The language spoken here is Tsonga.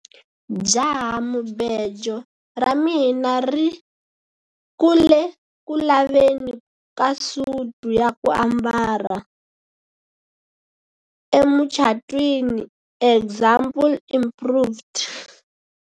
jahamubejo ra mina ri ku le ku laveni ka suti ya ku ambala emucatwiniexample improved